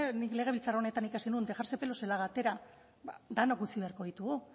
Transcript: nik legebiltzar honetan ikasi nuen dejarse pelos en la gatera denok utzi beharko ditugu